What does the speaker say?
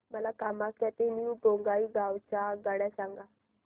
मला कामाख्या ते न्यू बोंगाईगाव च्या आगगाड्या सांगा